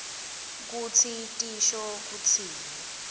kutsi tisho kutsini